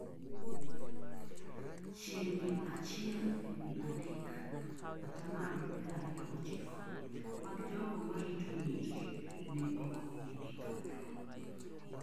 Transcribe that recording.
chiegni achiel e wi adek(atamalo piero ariyo gochiko)mag jogo marito nyiri ne ok omigi thuolo